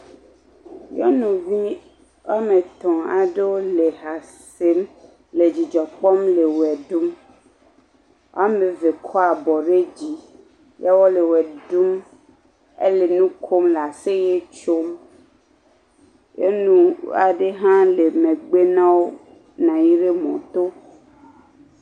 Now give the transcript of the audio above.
Nyɔnuvi woame tɔ̃ aɖewo le ha sem le dzidzɔ kpɔm le woe ɖum. Woame ve kɔ abɔ ɖe dzi ya wole woe ɖum ele nu kom le aseye tsom. Nyɔnu aɖe hã le megbe na wo, nɔ anyi ɖe mɔto.